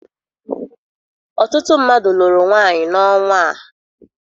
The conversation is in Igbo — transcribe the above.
Ọtụtụ mmadụ lụrụ nwaanyị n'ọnwa a.